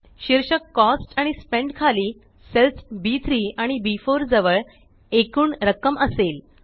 शीर्षक कॉस्ट आणि स्पेंट खाली सेल्स बी3 आणि बी4 जवळ एकूण रक्कम असेल